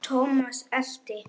Thomas elti.